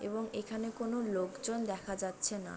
এবং এখানে কোনো লোকজন দেখা যাচ্ছে না।